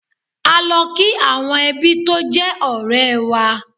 A lọ kí àwọn ẹbí tó jẹ́ ọ̀rẹ́ẹ wa.